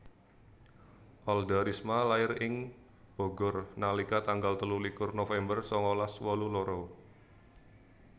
Alda Risma lair ing Bogor nalika tanggal telulikur November sangalas wolu loro